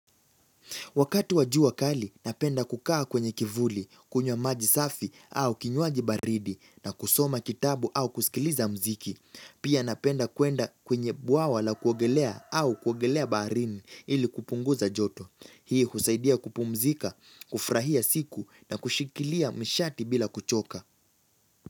Wakati wa jua kali, napenda kukaa kwenye kivuli, kunywa maji safi au kinywaji baridi na kusoma kitabu au kusikiliza mziki. Pia napenda kuenda kwenye bwawa la kuogelea au kuogelea baharini ili kupunguza joto. Hii husaidia kupumzika, kufrahia siku na kushikilia mshati bila kuchoka.